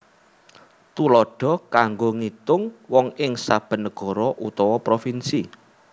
Tuladha kanggo ngitung wong ing saben negara utawa provinsi